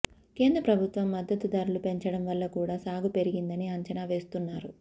కేంద్ర ప్రభుత్వం మద్దతు ధరలు పెంచడం వల్ల కూడా సాగు పెరిగిందని అంచనా వేస్తున్నారు